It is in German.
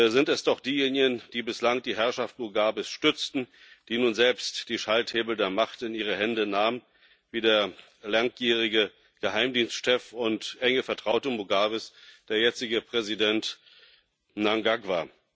sind es doch diejenigen, die bislang die Herrschaft Mugabes stützten, die nun selbst die Schalthebel der Macht in ihre Hände nahmen, wie der langjährige Geheimdienstchef und enge Vertraute Mugabes der jetzige Präsident Mnangagwa.